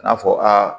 A n'a fɔ aa